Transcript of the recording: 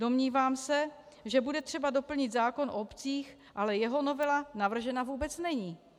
Domnívám se, že bude třeba doplnit zákon o obcích, ale jeho novela navržena vůbec není!